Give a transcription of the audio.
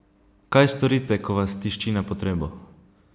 Kaj storite, ko vas tišči na potrebo?